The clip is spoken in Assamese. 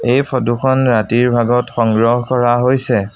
এই ফটোখন ৰাতিৰ ভাগত সংগ্ৰহ কৰা হৈছে।